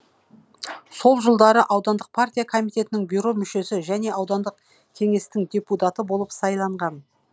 сол жылдары аудандық партия коммитетінің бюро мүшесі және аудандық кеңестің депутаты болып сайланған